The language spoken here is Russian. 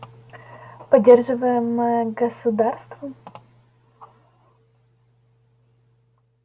поддерживаемое государством